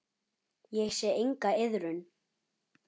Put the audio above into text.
Ég sé enga iðrun.